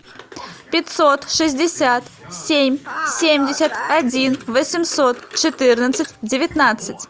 пятьсот шестьдесят семь семьдесят один восемьсот четырнадцать девятнадцать